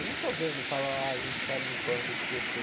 Eu não estou vendo, falam, ah, a gente está limpando o Tietê.